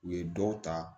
U ye dɔw ta